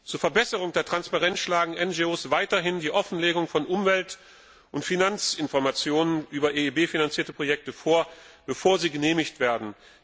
Zur Verbesserung der Transparenz schlagen NGO weiterhin die Offenlegung von Umwelt und Finanzinformationen über EIB finanzierte Projekte vor, bevor sie genehmigt werden.